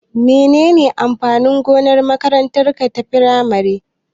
Menene amfanin gonar makarantar firamare?